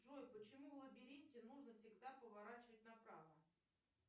джой почему в лабиринте нужно всегда поворачивать направо